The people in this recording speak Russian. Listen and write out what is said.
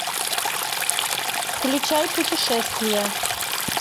включай путешествия